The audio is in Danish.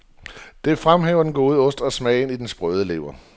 Det fremhæver den gode ost, og smagen i den sprøde lever.